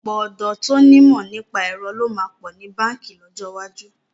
Ọ̀pọ̀ ọ̀dọ́ tó ní ìmọ̀ nípa ẹ̀rọ ló máa pọ̀ ní báǹkì lọ́jọ́ iwájú.